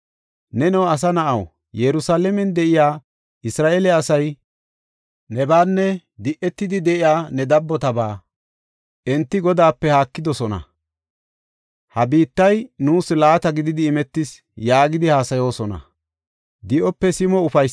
“Neno asa na7aw, Yerusalaamen de7iya Isra7eele asay nebaanne di7on de7iya ne dabbotabaa, ‘Enti Godaape haakidosona; ha biittay nuus laata gididi imetis’ ” yaagidi haasayoosona.